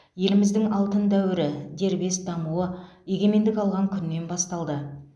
еліміздің алтын дәуірі дербес дамуы егемендік алған күннен басталды